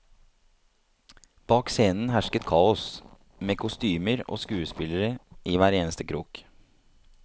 Bak scenen hersket kaos, med kostymer og skuespillere i hver eneste krok.